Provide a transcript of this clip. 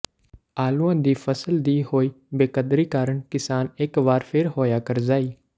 ਆਲੂਆਂ ਦੀ ਫਸਲ ਦੀ ਹੋਈ ਬੇਕਦਰੀ ਕਾਰਨ ਕਿਸਾਨ ਇਕ ਵਾਰ ਫੇਰ ਹੋਇਆ ਕਰਜ਼ਾਈ